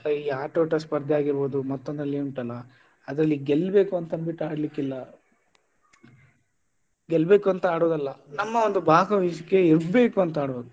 ಈ ಆಟೋಟ ಸ್ಪರ್ಧೆ ಆಗಿರ್ಬಹುದು ಮತ್ತೊಂದರಲ್ಲಿ ಉಂಟಲ್ಲಾ ಅದ್ರಲ್ಲಿ ಗೆಲ್ಬೇಕು ಅಂತ ಅಂದ್ಬಿಟ್ಟು ಆಡ್ಲಿಕ್ಕೆ ಇಲ್ಲ ಗೆಲ್ಬೇಕು ಅಂತ ಆಡುದಲ್ಲ ನಮ್ಮ ಒಂದು ಭಾಗವಹಿಸುವಿಕೆ ಇರಬೇಕು ಅಂತ ಆಡುದು.